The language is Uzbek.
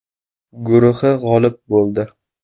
guruhi g‘olib bo‘ldi.